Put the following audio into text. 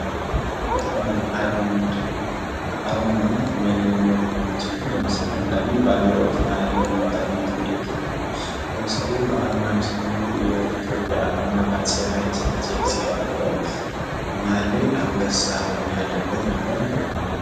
አርማ ምንድን ነው? አርማ ማለት መለያ ሲሆን ለምሳሌ አንዳንዴ ባንዲራዎች መሃል ላይ የሚቀመጥ ምልክት ነው። ለምሳሌ አርማን ስናይ የኢትዮጵያ አርማ በአጼ ሃይለስላሴ የነበረው መሃል ላይ አንበሳ ያለበት ነበረ ማለት ነው።